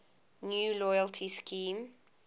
new loyalty scheme